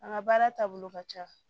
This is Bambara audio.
An ka baara taabolo ka ca